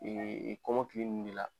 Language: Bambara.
Ee kɔmɔnkili nunnu b'i la.